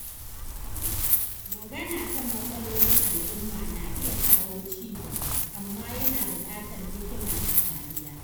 Magana kan matsalolin al’umma na iya kawo ci gaba, amma yana bukatar hikima da kariya.